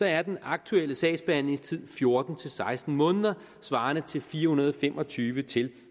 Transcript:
er den aktuelle sagsbehandlingstid fjorten til seksten måneder svarende til fire hundrede og fem og tyve til